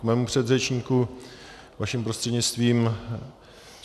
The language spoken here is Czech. K svému předřečníku vaším prostřednictvím.